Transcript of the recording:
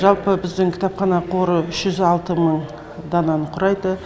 жалпы біздің кітапхана қоры үш жүз алты мың дананы құрайды